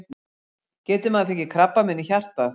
Getur maður fengið krabbamein í hjartað?